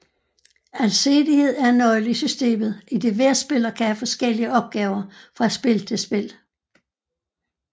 Alsidighed er en nøgle i systemet idet hver spiller kan have forskellige opgaver fra spil til spil